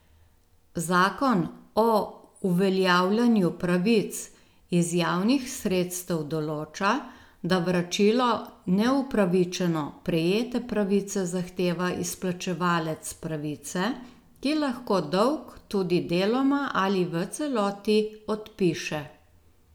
Zakon o uveljavljanju pravic iz javnih sredstev določa, da vračilo neupravičeno prejete pravice zahteva izplačevalec pravice, ki lahko dolg tudi deloma ali v celoti odpiše.